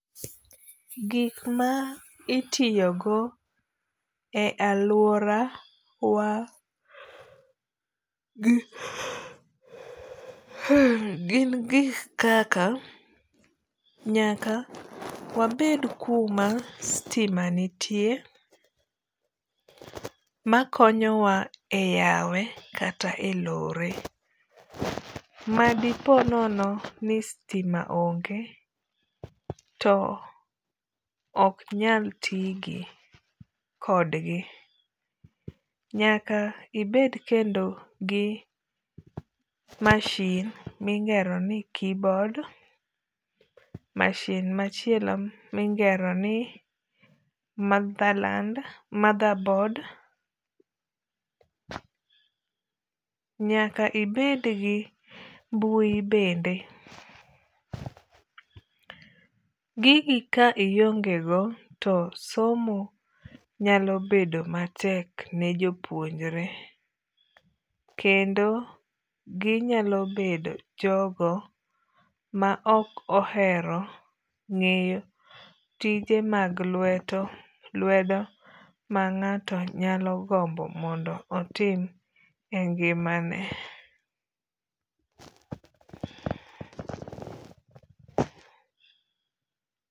Gik ma itiyo go e aluora wa gin gik kaka nyaka wabed kuma sitima nitie makonyowa e yawe kata e lore. Madipo nono ni sitima onge to ok nyal tigi kodgi. Nyaka ibed kendo gi mashin mingero ni keyboard. Masin amchielo mingero ni motherboard. Nyaka ibed gi mbui bende. Gigi ka ionge go to somo nyalo bedo matek ne jopuonjre. Kendi ginyalo bedo jogo ma ok ohero ng'eyo tije mag lwedo ma ng'ato nyalo gombo mondo otim e ngima ne.